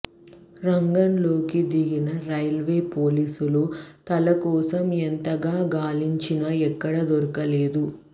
రంగంలోకి దిగిన రైల్వే పోలీసులు తల కోసం ఎంతగా గాలించిన ఎక్కడా దొరకలేదు